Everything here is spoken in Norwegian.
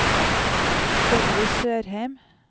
Sylvi Sørheim